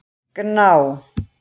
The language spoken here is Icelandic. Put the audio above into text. Gná